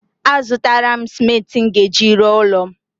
A zụtara m simenti m ga-eji rụọ ụlọ m